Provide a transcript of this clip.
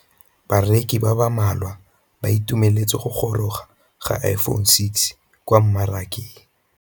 Bareki ba ba malwa ba ituemeletse go gôrôga ga Iphone6 kwa mmarakeng.